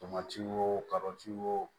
Tomati o wo